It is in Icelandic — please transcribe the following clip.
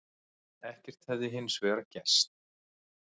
Ekkert hefði hins vegar gerst